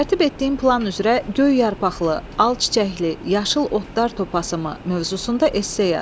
Tərtib etdiyin plan üzrə göy yarpaqlı, al çiçəkli, yaşıl otlar topasımı mövzusunda esse yaz.